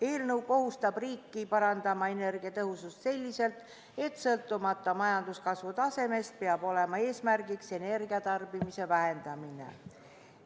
Eelnõu kohustab riiki parandama energiatõhusust selliselt, et sõltumata majanduskasvu tasemest peab olema eesmärgiks energiatarbimise vähendamine.